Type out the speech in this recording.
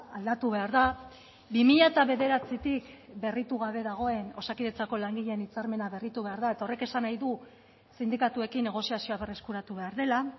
aldatu behar da bi mila bederatzitik berritu gabe dagoen osakidetzako langileen hitzarmena berritu behar da eta horrek esan nahi du sindikatuekin negoziazioa berreskuratu behar dela